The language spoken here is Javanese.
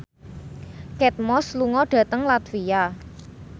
Kate Moss lunga dhateng latvia